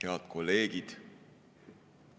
Head kolleegid!